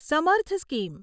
સમર્થ સ્કીમ